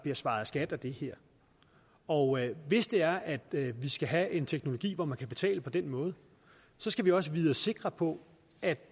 bliver svaret skat af det her og hvis det er at vi skal have en teknologi hvor man kan betale på den måde så skal vi også vide os sikre på at